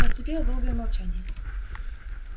наступило долгое молчание